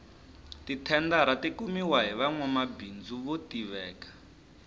ti thendara ti kumiwa hi vanwamabindzu vo tiveka